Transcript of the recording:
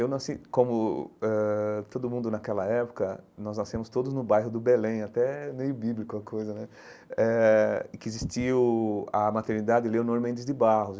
Eu nasci, como eh todo mundo naquela época, nós nascemos todos no bairro do Belém, até meio bíblico a coisa né, eh que existiu a maternidade Leonor Mendes de Barros.